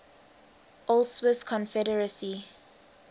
old swiss confederacy